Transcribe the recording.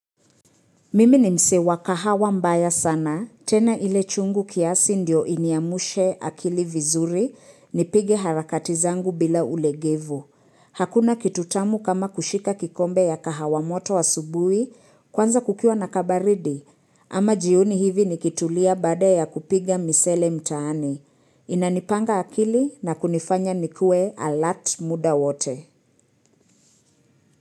Mimi ni msee wa kahawa mbaya sana, tena ile chungu kiasi ndio iniamushe akili vizuri, nipige harakati zangu bila ulegevu. Hakuna kitu tamu kama kushika kikombe ya kahawa moto asubui, kwanza kukiwa na kabaridi, ama jioni hivi nikitulia baada ya kupiga misele mtaani. Inanipanga akili na kunifanya nikue alert muda wote.